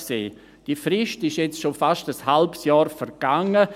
Diese Frist ist jetzt schon fast ein halbes Jahr vergangen.